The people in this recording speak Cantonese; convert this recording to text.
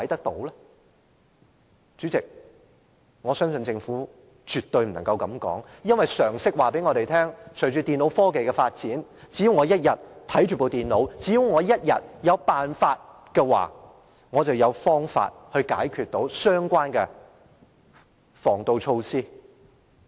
代理主席，我相信政府絕不可以這樣說。因為常識告訴我們，隨着電腦科技發展，只要我一天擁有這些電腦，只要我一天有辦法，我便可以解除相關防盜措施。